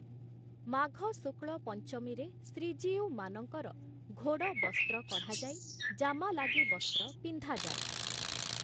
ମାଘ ଶୁକ୍ଳ ପଞ୍ଚମୀରେ ଶ୍ରୀଜୀଉମାନଙ୍କର ଘୋଡ଼ବସ୍ତ୍ର କଢ଼ାଯାଇ ଜାମାଲାଗି ବସ୍ତ୍ର ପିନ୍ଧାଯାଏ ।